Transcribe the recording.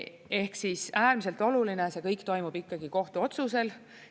Ehk siis, äärmiselt oluline on, et see kõik toimub kohtuotsuse alusel.